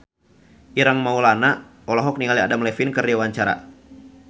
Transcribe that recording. Ireng Maulana olohok ningali Adam Levine keur diwawancara